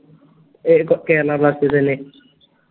A ബ് Kerala blasters ന്നെ